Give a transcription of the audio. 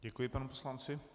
Děkuji panu poslanci.